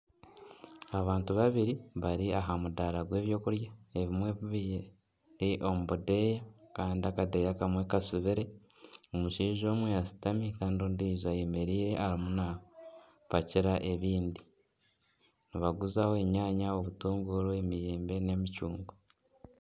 Abantu babiri bari aha mudaara gw'ebyokurya ebimwe biri omu budeeya Kandi akadeeya akamwe katsibire . Omushaija omwe ashitami Kandi ondijo ayemereire arimu napakira ebindi . Nibaguzaho enyaanya , obutunguru , emiyembe n'emicungwa.